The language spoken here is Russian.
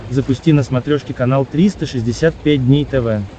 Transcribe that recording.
запусти на смотрешке канал триста шестьдесят пять дней тв